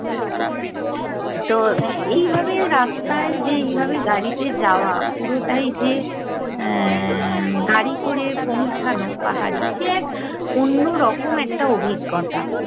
তো এইভাবে রাস্তায় যে এইভাবে গাড়িতে যাওয়া পুরোটাই যে এ্যা গাড়ি করে পৌঁছানো পাহাড়ে, সে এক অন্য রকম একটা অভিজ্ঞতা